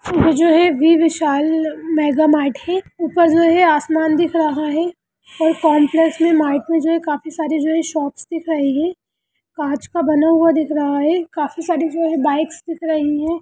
इसमें जो है वी विशाल मेगा मार्ट है | ऊपर जो है आसमान दिख रहा है और कॉम्प्लेक्स में में जो है काफी सारी जो है शॉपस दिख रही है काँच का बना हुआ दिख रहा है काफी सारी जो है बाइकस दिख रही है।